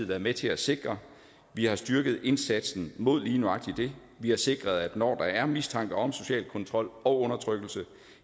været med til at sikre vi har styrket indsatsen mod lige nøjagtig det vi har sikret at når der er mistanke om social kontrol og undertrykkelse